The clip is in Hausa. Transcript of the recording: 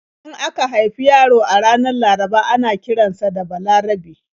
In aka haifi yaro a ranar Laraba ana kiran sa da 'Balarabe'.